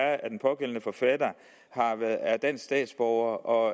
er at den pågældende forfatter er dansk statsborger og